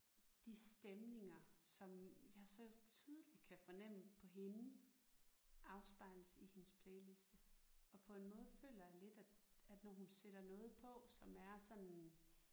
De stemninger som jeg så tydeligt kan fornemme på hende afspejles i hendes playliste og på en måde føler jeg lidt at at når hun sætter noget på som er sådan